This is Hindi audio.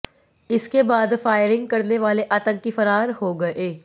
इसके बाद फायरिंग करने वाले आतंकी फरार हो गए